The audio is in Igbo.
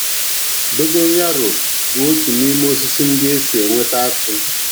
Dogon yaro bụ otu n’ime osisi ndị e si enweta atụ